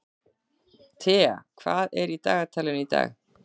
Thea, hvað er í dagatalinu í dag?